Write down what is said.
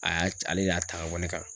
A y'a ale de y'a ta ka bɔ ne kan.